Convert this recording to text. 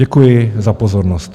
Děkuji za pozornost.